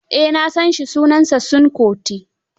Eh na san shi, sunansa Seun Kuti.